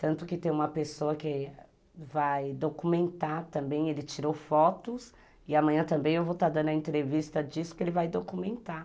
Tanto que tem uma pessoa que vai documentar também, ele tirou fotos, e amanhã também eu vou estar dando a entrevista disso que ele vai documentar.